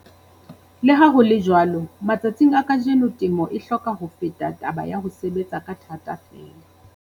Le ha ho le jwalo, matsatsing a kajeno temo e hloka ho feta taba ya ho sebetsa ka thata feela.